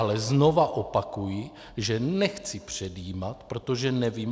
Ale znovu opakuji, že nechci předjímat, protože nevím.